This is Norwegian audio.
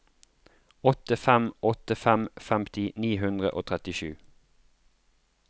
åtte fem åtte fem femti ni hundre og trettisju